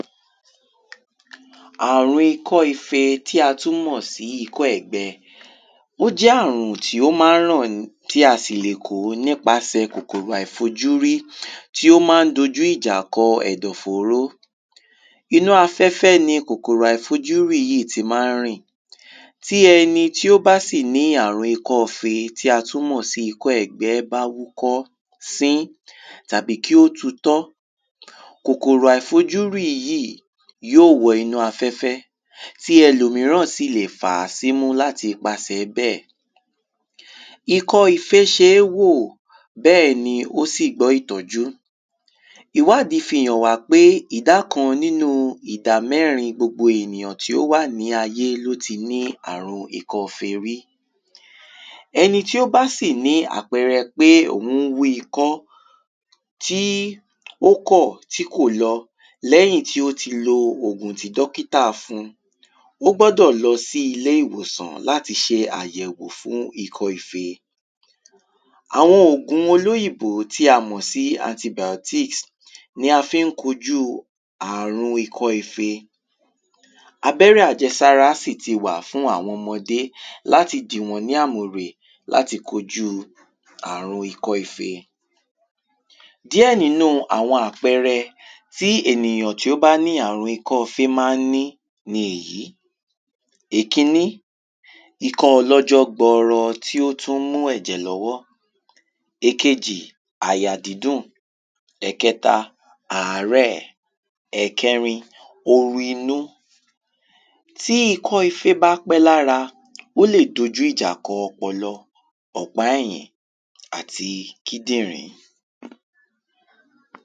àrun ikọ́ ife tí a tún mọ̀ sí ikọ́ ẹ̀gbẹ. ó jẹ́ àrùn tí ó mán ràn tí a sì lè kó nípasẹ̀ kòkòro àìfojúrí tí ó mán dojú ìjà kọ ẹ̀dọ̀fóró. inú afẹ́fẹ́ ni kòkòrò àìfojúrí yìí ti mán rìn. tí ẹni tí ó bá sì ní àrùn ikọ́ ife tí a tún mọ̀ sí ikọ́ ẹ̀gbẹ́ bá wúkọ́, sín, tàbí kí ó tutọ́, kòkòrò àìfojúrí yìí yíò wọ inú afẹ́fẹ́ tí elòmíràn sìlè fàá símú láti ipasẹ̀ẹ bẹ́ẹ̀. ikọ́ ifé ṣeé wò, bẹ́ẹ̀ni ó sì gbọ́ ìtọ́jú. ìwádí fi hàn wá pé ìdá kan nínu ìdá mẹ́rin gbogbo ènìyàn tí ó wà ní ayé ni ó ti ní àrun ikọ́ ife rí. ẹni tí ó bá sì ní àpẹrẹ pé ò ń wú ikọ́ tí ó kọ̀ tí kò lọ lẹ́yìn tí ó ti lo ògùn tí dọ́kítà fun, ó gbọ́dọ̀ lọ sí ilé-ìwòsàn láti ṣe àyẹ̀wò fún ikọ́ ife. àwọn ògun olóyìnbó tí a mọ̀ sí antibàótíkìs ni a fi ń kokúu àrun ikọ́ ife. abẹ́rẹ́ àjẹsára sì ti wà fún àwọn ọmọdé láti dì wọ́n lámùrè láti kojúu àrun ikọ́ ife. díẹ̀ nínu àwọn ápẹrẹ tí ènìyán tí ó bá ní àrun ikọ́ ifé mán ní ni èyí; èkíní, ìkọ́ ọlọ́jọ́ gbọrọ tí ó tún mú ẹ̀jẹ̀ lọ́wọ́, èkejì, àyà dídùn, ẹ̀kẹta, àárẹ̀, ẹ̀kẹrin, oru inú. tí ikọ́ ifé bá pẹ́ lára, ó lè dojù ìjà kọ ọpọlọ, ọ̀pá ẹ̀yìn, àti kídìnrín.